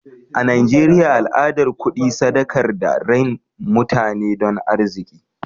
A Najeriya al'adar kudi sadakar da rain mutane don arziki.